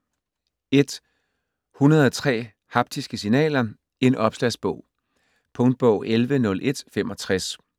103 haptiske signaler: en opslagsbog Punktbog 110165